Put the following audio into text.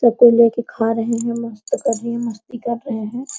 सब कोई लेके खा रहे हैं मस्त कर रही हैं मस्ती कर रहे हैं।